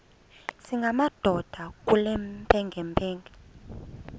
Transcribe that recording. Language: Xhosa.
singamadoda kule mpengempenge